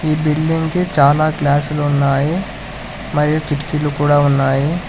Building కి చాలా class లో ఉన్నాయి మరియు కిటికీలు కూడా ఉన్నాయి.